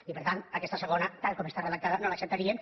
i per tant aquesta segona tal com està redactada no l’acceptaríem